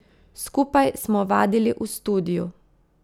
Skupaj smo vadili v studiu ...